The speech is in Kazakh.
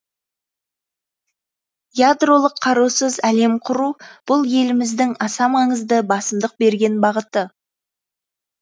ядролық қарусыз әлем құру бұл еліміздің аса маңызды басымдық берген бағыты